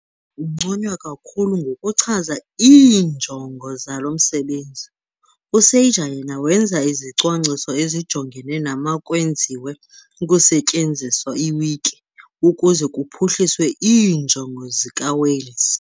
Unconywa kakhulu ngokuchaza iinjongo zalo msebenzi, U-Sager yena wenza izicwangciso ezijongene nemakwenziwe ukusetyenziswa iwiki ukuze kuphuhliswe iinjongo zikaWales'.